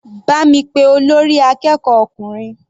Bá mi pé olórí akẹ́kọ̀ọ́ ọkùnrin.